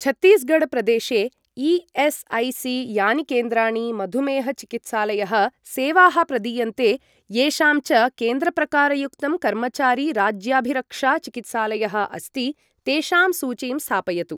छत्तीसगढ् प्रदेशेई.एस्.ऐ.सी.यानि केन्द्राणि मधुमेह चिकित्सालयः सेवाः प्रदीयन्ते, येषां च केन्द्रप्रकारयुक्तं कर्मचारी राज्याभिरक्षा चिकित्सालयः अस्ति, तेषां सूचीं स्थापयतु।